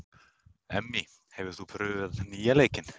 Emmý, hefur þú prófað nýja leikinn?